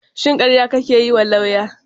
Shin karya kake yiwa lauya?